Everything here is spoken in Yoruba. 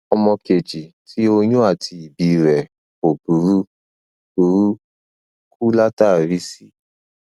ọmọ kejì tí oyún àti ìbí rẹ kò burú burú kú látàrí c